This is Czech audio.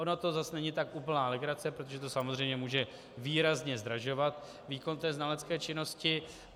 Ona to zase není tak úplně legrace, protože to samozřejmě může výrazně zdražovat výkon té znalecké činnosti.